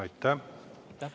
Aitäh!